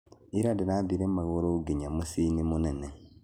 Ira ndĩrathire magũrũ nginya mũciĩ-inĩ mũnene